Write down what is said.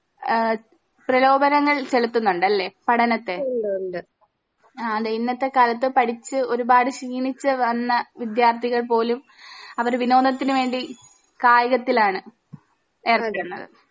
ഏഹ് പ്രലോപനങ്ങൾ ചലത്തുന്നുണ്ടല്ലേ പഠനത്തെ ആതെ ഇന്നത്തെ കാലത്ത് പഠിച്ച് ഒരുപാട് ക്ഷീണിച്ച് വന്ന വിദ്യാർത്ഥികൾ പോലും അവര് വിനോദത്തിന് വേണ്ടി കായികത്തിലാണ് എറണ്ടണ്